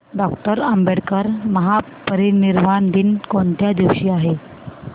doctor Ambedkar महापरिनिर्वाण दिन कोणत्या दिवशी आहे